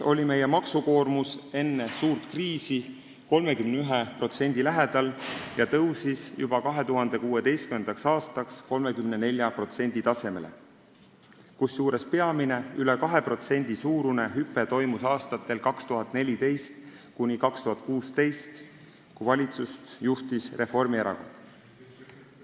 Meie maksukoormus oli enne suurt kriisi 31% lähedal ja tõusis juba 2016. aastaks 34% tasemele, kusjuures peamine, üle 2% suurune hüpe toimus aastatel 2014–2016, kui valitsust juhtis Reformierakond.